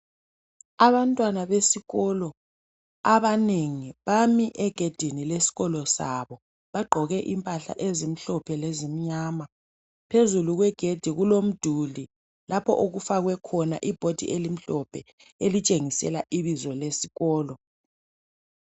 Abantwana besikolo abanengi bami egedini lesikolo sabo. Bagqoke impahla ezimhlophe lezimnyama. Phezulu kwegedi kulomduli lapho okufakwe khona ibhodi elimhlophe elitshengisela ibizo lesikolo.